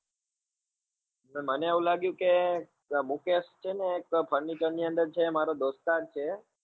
મને એવું લાગ્યું કે ત્યાં મુકેશ છે ને એક furniture ની અંદર છે એ મારો દોસ્તાર છે